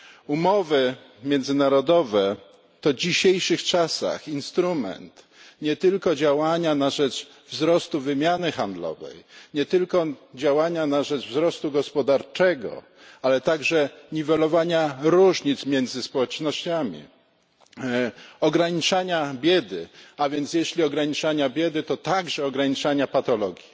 Umowy międzynarodowe to w dzisiejszych czasach instrument nie tylko działania na rzecz wzrostu wymiany handlowej, nie tylko działania na rzecz wzrostu gospodarczego, ale także niwelowania różnic między społecznościami, ograniczania biedy, a więc jeśli ograniczania biedy, to także ograniczania patologii.